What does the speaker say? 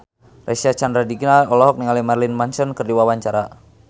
Reysa Chandragitta olohok ningali Marilyn Manson keur diwawancara